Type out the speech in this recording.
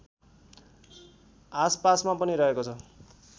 आसपासमा पनि रहेको छ